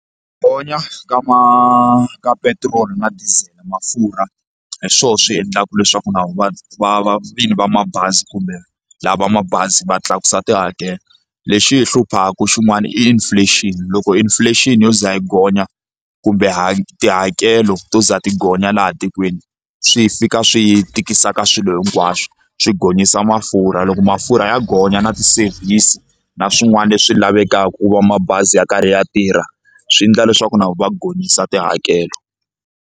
Gonya ka ma ka petiroli na diesel mafurha hi swona swi endlaka leswaku na vona va va va vini va mabazi kumbe lava va mabazi va tlakusa tihakelo lexi hi hluphaku xin'wana inflation loko inflation yo ze yi gonya kumbe tihakelo to za ti gonya laha tikweni swi fika swi tikisa ka swilo hinkwaswo swi gonyisa mafurha loko mafurha ya gonya na ti-service na swin'wana leswi lavekaka ku va mabazi ya karhi ya tirha swi endla leswaku na vo va gonyisa tihakelo.